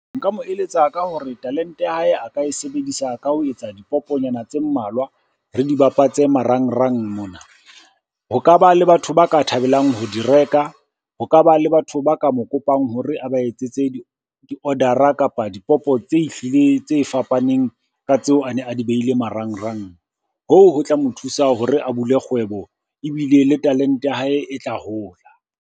Nka mo eletsa ka hore talente ya hae a ka e sebedisa ka ho etsa dipopo nyana tse mmalwa, re dibapatse marangrang mona. Ho ka ba le batho ba ka thabelang ho di reka, ho ka ba le batho ba ka mo kopang hore a ba etsetse di-order-ra, kapa dipopo tse ehlile tse fapaneng ka tseo a ne a di beile marangrang. Hoo ho tla mo thusa hore a bule kgwebo, ebile le talente ya hae e tla hola.